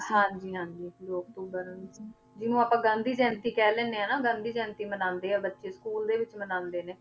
ਹਾਂਜੀ ਹਾਂਜੀ ਦੋ ਅਕਤੂਬਰ ਉੱਨੀ ਸੋ, ਜਿਹਨੂੰ ਆਪਾਂ ਗਾਂਧੀ ਜਯੰਤੀ ਕਹਿ ਲੈਂਦੇ ਹਾਂ ਨਾ, ਗਾਂਧੀ ਜਯੰਤੀ ਮਨਾਉਂਦੇ ਆ ਬੱਚੇ school ਦੇ ਵਿੱਚ ਮਨਾਉਂਦੇ ਨੇ,